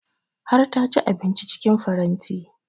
Har ta ci abinci cikin faranti